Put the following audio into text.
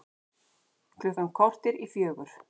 Klukkan korter í fjögur